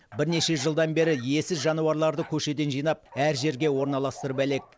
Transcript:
бірнеше жылдан бері иесіз жануарларды көшеден жинап әр жерге орналастырып әлек